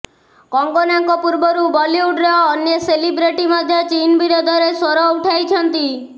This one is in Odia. କଙ୍ଗନାଙ୍କ ପୂର୍ବରୁ ବଲିଉଡର ଅନ୍ୟେ ସେଲିବ୍ରିଟି ମଧ୍ୟ ଚୀନ ବିରୋଧରେ ସ୍ୱର ଉଠାଇଛନ୍ତି